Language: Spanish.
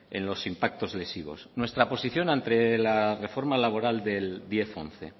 en los impactos lesivos nuestra posición ante la reforma laboral del diez once